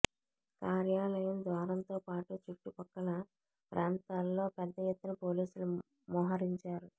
కార్యాలయం ద్వారంతోపాటు చుట్టు పక్కల ప్రాంతాల్లో పెద్దఎత్తున పోలీసులు మోహరించారు